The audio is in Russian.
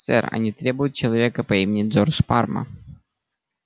сэр они требуют человека по имени джордж парма